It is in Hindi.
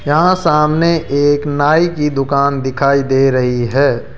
यहां सामने एक नाई की दुकान दिखाई दे रही है।